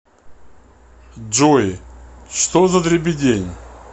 джой что за дребедень